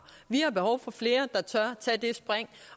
vi har behov for flere der tør tage det spring